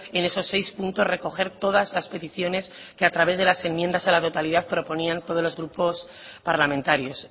en esos seis puntos recoger todas las peticiones que a través de las enmiendas a la totalidad proponían todos los grupos parlamentarios